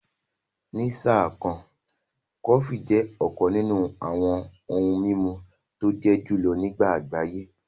Ní sáà kan, Kòfí jẹ́ ọ̀kàn nínú awọn ohun mimú tó jẹ́ julọ̀ ní agbáyé